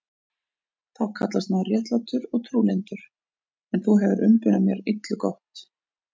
Þú kallast maður réttlátur og trúlyndur, en þú hefir umbunað mér illu gott.